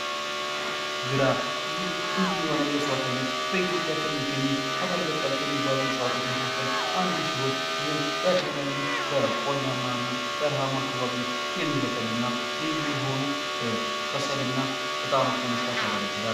ግራር ይህ ልዩ የሆነ የእዋት አይነት በኢትዮጵያ ከሚገኘው ሀገር በቀል ከሚባሉ እዋቶች መካከል አንዱ ሲሆን ይህ በተለያዩ በቆላማና በረሃማ አካባቢዎች የሚበቅል እና ልዩ የሆኑ ከሰልና እጣኖች ለመስራት ያገለግላል።